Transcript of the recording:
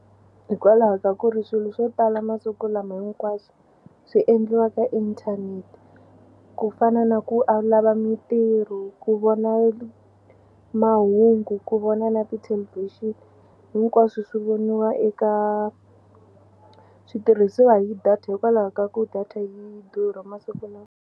Hikwalaho ka ku ri swilo swo tala masiku lama hinkwaswo swi endliwa ka inthanete ku fana na ku a lava mitirho ku vona mahungu ku vona na ti-television hinkwaswo swi voniwa eka switirhisiwa hi data hikwalaho ka ku data yi durha masiku lawa.